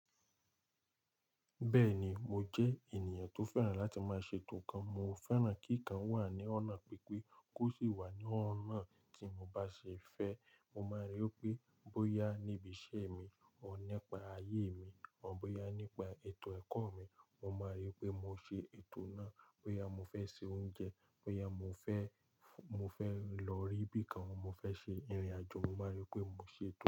Bẹ́ẹ̀ni mo jẹ́ ènìyàn tó fẹ́ràn láti má ṣe ètò nkan. Mo fẹ́ràn kí nǹkan wà ní ọ̀nà pípé kó sì wà ní ọ̀nà tí mo bá ṣe fẹ́. Mo máa rí i pé bóyá níbi iṣẹ́ mi ọ̀ nípa ayé mi ọ̀ bóyá nípa ètò ẹ̀kọ́ mi, mo máa rí i pé mo ṣe ètò náà. Bóyá mo fr ṣe oúnjẹ, bóyá mo fẹ́ mo fẹ́ lórí ibi kan mo fẹ́ ṣe ìrìn àjò mo má rí pé mo ṣètò.